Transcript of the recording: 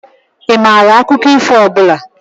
Ị maara akụkọ ifo ọ bụla?